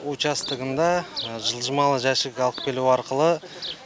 участогында жылжымалы жәшік алып келу арқылы